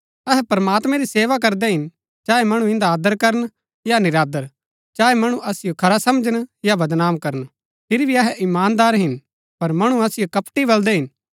अहै प्रमात्मैं री सेवा करदै हिन चाहे मणु इन्दा आदर करन या निरादर चाहे मणु असिओ खरा समझन या बदनाम करन फिरी भी अहै ईमानदार हिन पर मणु असिओ कपटी बलदै हिन